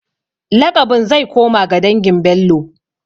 Laƙabin zai koma ga dangin Bello.